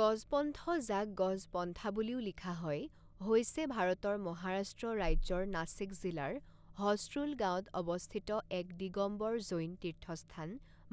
গজপন্থ যাক গজপন্থা বুলিও লিখা হয় হৈছে ভাৰতৰ মহাৰাষ্ট্ৰ ৰাজ্যৰ নাছিক জিলাৰ হছৰুল গাঁৱত অৱস্থিত এক দিগম্বৰ জৈন তীৰ্থস্থান